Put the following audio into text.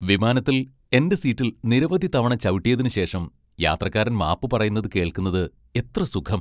വിമാനത്തിൽ എന്റെ സീറ്റിൽ നിരവധി തവണ ചവിട്ടിയതിനുശേഷം യാത്രക്കാരൻ മാപ്പ് പറയുന്നത് കേൾക്കുന്നത് എത്ര സുഖം!